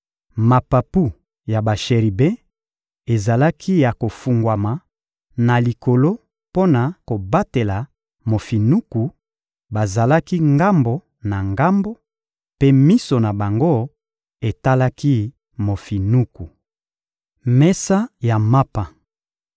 Mapapu ya basheribe ezalaki ya kofungwama na likolo mpo na kobatela mofinuku; bazalaki ngambo na ngambo, mpe miso na bango etalaki mofinuku. Mesa ya mapa